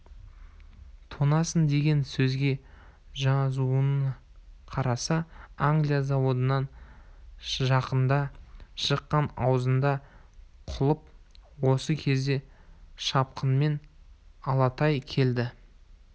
тоңасың деген сөзге жазуына қараса англия заводынан жақында шыққан аузында құлып осы кезде шапқынмен алатай келді